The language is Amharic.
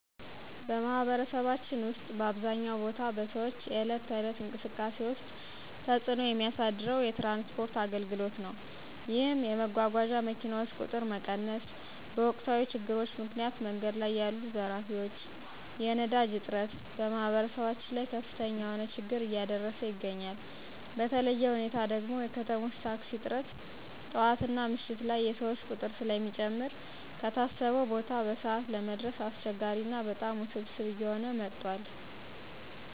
በማህበረሰባችን ውስጥ በአብዛኛው ቦታ በሰዎች የዕለት ተዕለት እንቅስቃሴ ውስጥ ተፅዕኖ የሚያሳድረው የትራንስፖርት አገልግሎት ነዉ። ይህም የመጓጓዣ መኪናዎች ቁጥር መቀነስ፣ በወቅታዊ ችግሮች ምክንያት መንገድ ላይ ያሉ ዘራፊዎች፣ የነዳጅ እጥረት በማህበረሰባችን ላይ ከፍተኛ የሆነ ችግር እያደረሰ ይገኛል። በተለየ ሁኔታ ደግሞ የከተሞች ታክሲ እጥረት ጠዋትና ምሽት ላይ የሰዎች ቁጥር ስለሚጨምር ከታሰበው ቦታ በሰዓት ለመድረስ አስቸጋሪ ና በጣም ውስብስብ እየሆነ መጥቷል።